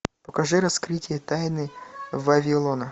покажи раскрытие тайны вавилона